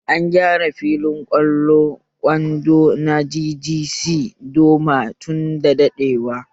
An gyara filin ƙwallon kwando na GGC Doma tunda daɗewa